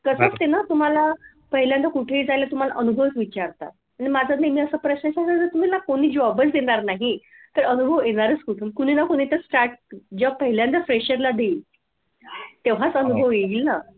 असते ना तुम्हाला पहिल्यांदा कुठे जायला तुम्हाला अनुभव विचारतात. आणि माझा नेहमी असा प्रश्न की मला जो कोणी job च देणार नाही तर अनुभव येणारच कुठून कुणी ना कोणीतरी start जेव्हा पहिल्यांदा fresher ला देईल तेव्हाच अनुभव येईल ना